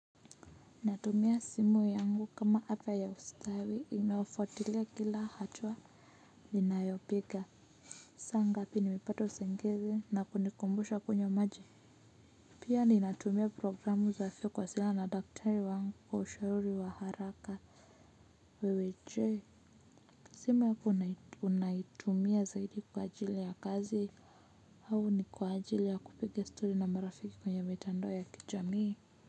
Natumia simu yangu kama app ya ustawi inayofuatilia kila hatua ninayopiga saa ngapi nimepata usingizi na kunikumbusha kunywa maji pia ninatumia programu za afya kuwasiliana na daktari wangu kwa ushauri wa haraka wewe je simu yako unaitumia zaidi kwa ajili ya kazi au ni kwa ajili ya kupiga stori na marafiki kwenye mitandao ya kijamii?